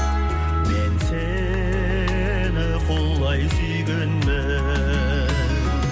мен сені құлай сүйгенмін